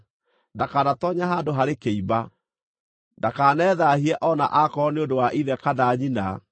Ndakanatoonye handũ harĩ kĩimba. Ndakanethaahie o na aakorwo nĩ ũndũ wa ithe kana nyina,